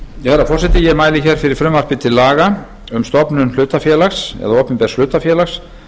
herra forseti ég mæli hér fyrir frumvarpi til laga um stofnun hlutafélags eða opinbers hlutafélags